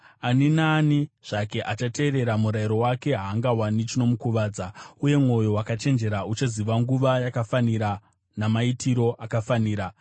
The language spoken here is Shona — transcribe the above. Ani naani zvake achateerera murayiro wake haangawani chinomukuvadza, uye mwoyo wakachenjera uchaziva nguva yakafanira namaitiro akafanira.